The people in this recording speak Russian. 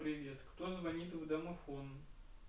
привет кто звонит в домофон